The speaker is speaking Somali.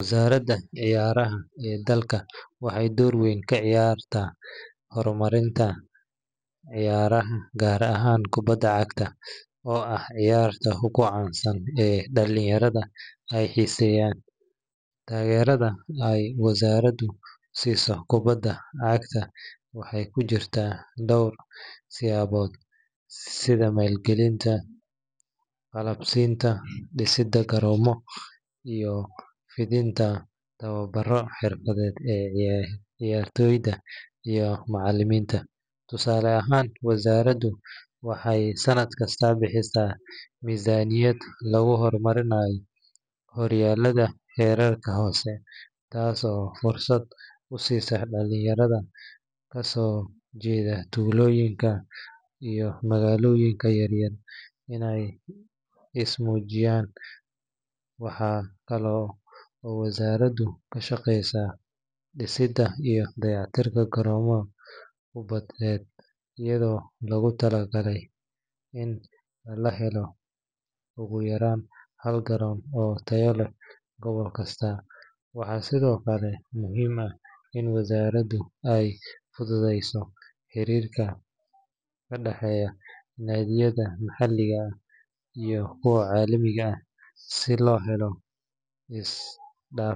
Wazarada ceyaraha ee dalka waxay door weeyn kaciyarah hormarinta ceyaraha kaar ahan kubada cagta, oo aah ciyaarta ugu cansan ee dalinyara ay xeseyan tagerada ay wazaradu kubixiyoh kubada cagta waxa kujirtah door siyabot setha malgalinta galabsinta disida koromo iyo fethenta towabaro xerfad leeh ee ciyartoyda iyo macaliminta tosaalo ahaan wazaradu waxay santkasta bixisah mizaniyada lagu hormarinayo huruada ee rerja hoosi taaso fursad u sisoh dalinyara melaha kasujeedih waxaykali oo wazaradu bixisah koromada gobolada waxasthokali muhim ah ini wizaaradu ay mitheysoh xerirka kadaxeeyoh Maaliyada maxaliga aah iyo kuwa calimika se loheloh isdaaf.